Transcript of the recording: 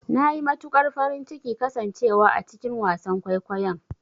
Nayi matukar farin cikin kasan cewa a cikin wasan kwaikwayon.